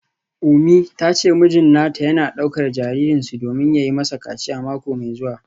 Umi ta ce mijin nata yana daukar jaririnsu domin yi masa kaciya mako mai zuwa.